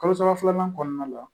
Kalo saba filanan kɔnɔna la